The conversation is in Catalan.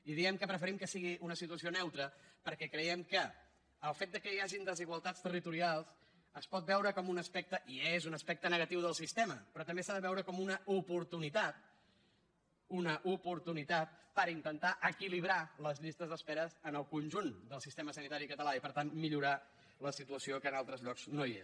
i diem que preferim que sigui una situació neutra perquè creiem que el fet que hi hagin desigualtats territorials es pot veure com un aspecte i és un aspecte negatiu del sistema però també s’ha de veure com una oportunitat una oportunitat per intentar equilibrar les llistes d’espera en el conjunt del sistema sanitari català i per tant millorar la situació que en altres llocs no hi és